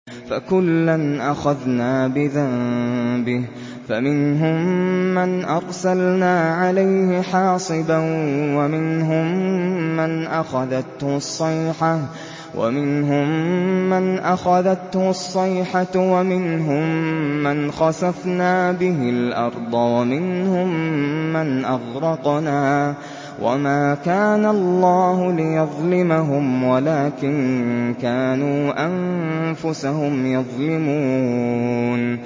فَكُلًّا أَخَذْنَا بِذَنبِهِ ۖ فَمِنْهُم مَّنْ أَرْسَلْنَا عَلَيْهِ حَاصِبًا وَمِنْهُم مَّنْ أَخَذَتْهُ الصَّيْحَةُ وَمِنْهُم مَّنْ خَسَفْنَا بِهِ الْأَرْضَ وَمِنْهُم مَّنْ أَغْرَقْنَا ۚ وَمَا كَانَ اللَّهُ لِيَظْلِمَهُمْ وَلَٰكِن كَانُوا أَنفُسَهُمْ يَظْلِمُونَ